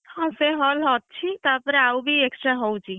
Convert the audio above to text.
ହଁ ସେଇ hall ଅଛି ତାପରେ ଆଉ ବି extra ହଉଛି?